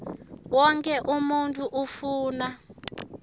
wonkhe umuntfu ufuna